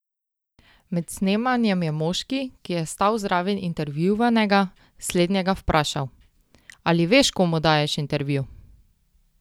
Med snemanjem je moški, ki je stal zraven intervjuvanega, slednjega vprašal: 'Ali veš komu daješ intervju?